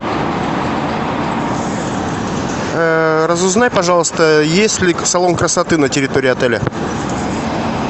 разузнай пожалуйста есть ли салон красоты на территории отеля